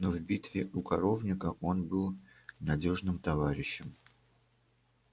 но в битве у коровника он был надёжным товарищем